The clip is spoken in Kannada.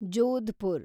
ಜೋಧಪುರ